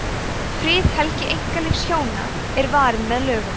friðhelgi einkalífs hjóna er varin með lögum